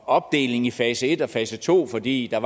opdeling i fase en og fase to fordi der